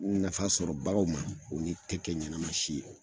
Nafa sɔrɔ baaraw ma, u ni ti kɛ ɲɛnama si ye .